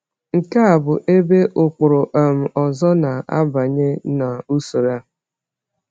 Nke a bụ ebe ụkpụrụ um ọzọ na-abanye n’usoro a.